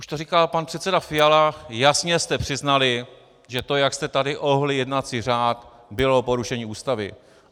Už to říkal pan předseda Fiala, jasně jste přiznali, že to, jak jste tady ohnuli jednací řád, bylo porušení Ústavy.